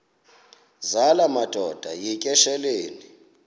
zala madoda yityesheleni